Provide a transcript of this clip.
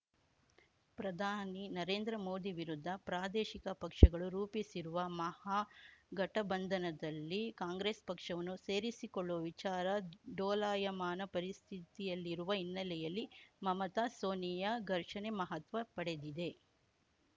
ಪ್ರಧಾನಿ ನರೇಂದ್ರ ಮೋದಿ ವಿರುದ್ಧ ಪ್ರಾದೇಶಿಕ ಪಕ್ಷಗಳು ರೂಪಿಸಿರುವ ಮಹಾಗಠಬಂಧನದಲ್ಲಿ ಕಾಂಗ್ರೆಸ್‌ ಪಕ್ಷವನ್ನು ಸೇರಿಸಿಕೊಳ್ಳುವ ವಿಚಾರ ಡೋಲಾಯಮಾನ ಪರಿಸ್ಥಿತಿಯಲ್ಲಿರುವ ಹಿನ್ನೆಲೆಯಲ್ಲಿ ಮಮತಾಸೋನಿಯಾ ಘರ್ಷಣೆ ಮಹತ್ವ ಪಡೆದಿದೆ